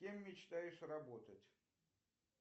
кем мечтаешь работать